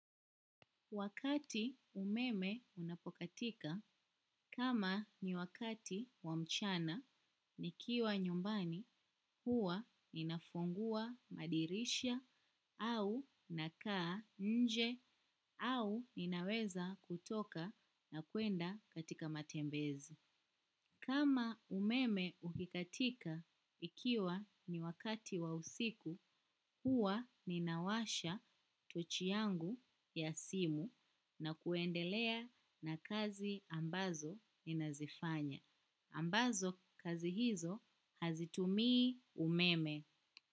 Wakati umeme unapokatika kama ni wakati wa mchana nikiwa nyumbani huwa ninafungua madirisha au nakaa nje au ninaweza kutoka na kuenda katika matembezi. Kama umeme ukikatika ikiwa ni wakati wa usiku, huwa ninawasha tochi yangu ya simu na kuendelea na kazi ambazo ninazifanya. Ambazo kazi hizo hazitumii umeme.